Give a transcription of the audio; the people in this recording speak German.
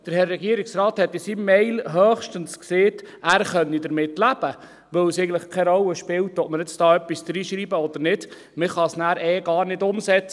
Der Herr Regierungsrat hat in seiner E-Mail höchstens gesagt, er könne damit leben, weil es eigentlich keine Rolle spielt, ob wir hier etwas hineinschreiben oder nicht, man kann es nachher eh gar nicht umsetzen.